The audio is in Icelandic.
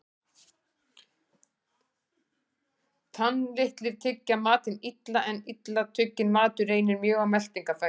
Tannlitlir tyggja matinn illa, en illa tugginn matur reynir mjög á meltingarfæri.